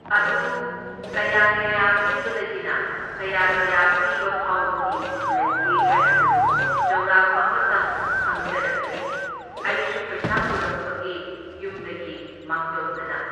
ꯑꯗꯨ ꯀꯌꯥ ꯀꯌꯥ ꯄꯤꯕꯗꯒꯤꯅ ꯀꯌꯥ ꯀꯌꯥ ꯄꯤꯕꯐꯥꯎꯒꯤ ꯂꯩꯒꯦ ꯍꯥꯏꯕꯗꯨ ꯆꯥꯎꯔꯥꯛꯄ ꯑꯃꯇꯪ ꯈꯪꯖꯔꯛꯀꯦ, ꯑꯩꯁꯨ ꯄꯩꯁꯥ ꯄꯨꯔꯛꯄꯒꯤ ꯌꯨꯝꯗꯒꯤ ꯃꯥꯡꯖꯧꯅꯅ꯫